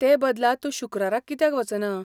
ते बदला तूं शुक्राराक कित्याक वचना?